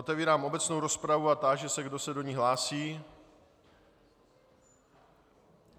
Otevírám obecnou rozpravu a táži se, kdo se do ní hlásí.